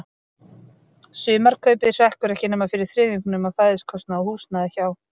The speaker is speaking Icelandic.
Sumarkaupið hrekkur ekki nema fyrir þriðjungnum af fæðiskostnaði og húsnæði hjá